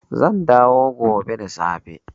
Zan dawo gobe da safe